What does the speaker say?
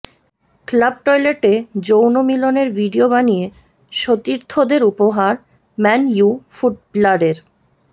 club টয়লেটে যৌনমিলনের video বানিয়ে সতীর্থদের উপহার ম্যান ইউ ফুটবলারের